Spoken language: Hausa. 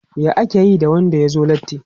Ya ake yi da wanda ya zo latti?